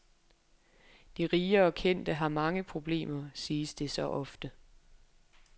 De rige og kendte har mange problemer, siges det så ofte.